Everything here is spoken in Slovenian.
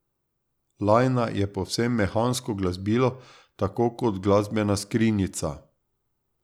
Lajna je povsem mehansko glasbilo tako kot glasbena skrinjica.